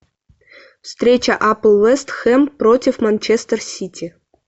встреча апл вест хэм против манчестер сити